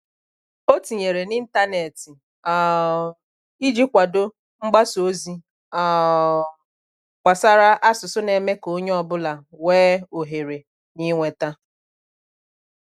O tinyere n'intanetị um iji kwado mgbasa ozi um gbasara asụsụ na-eme ka onye ọ bụla wee ohere n'inweta